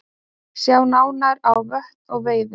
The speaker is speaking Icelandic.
Sjá nánar á Vötn og veiði